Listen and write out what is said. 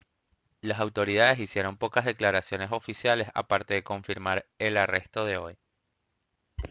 las autoridades hicieron pocas declaraciones oficiales aparte de confirmar el arresto de hoy